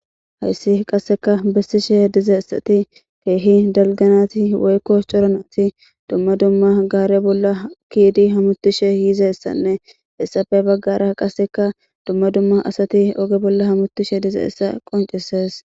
hayssi qasseka bessishe dizaessati keehi dalganati woykko coranati dumma dumma gaare bolla kiidi hamutishe yiizeessanne essafe baggara qasseka dumma dumma asati oge bolla hamutishe dizeessa qonceses